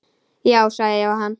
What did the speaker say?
Já, sagði Jóhann.